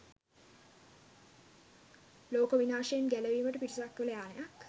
ලෝක විනාශයෙන් ගැලවීමට පිටසක්වල යානයක්?